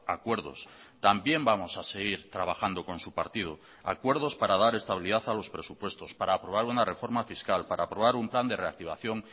acuerdos también vamos a seguir trabajando con su partido acuerdos para dar estabilidad a los presupuestos para aprobar una reforma fiscal para aprobar un plan de reactivación